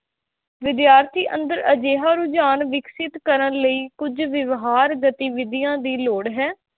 ਵਿਦਿਆਰਥੀ ਅੰਦਰ ਅਜਿਹਾ ਰੁਝਾਨ ਵਿਕਸਿਤ ਕਰਨ ਲਈ ਕੁੱਝ ਵਿਵਹਾਰ ਗਤੀਵਿਧੀਆ ਦੀ ਲੋੜ ਹੈ l